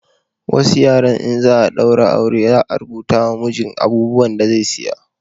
Wasu yaren in za a daura aure za a rubuta ma mijin abubuwan da zai saya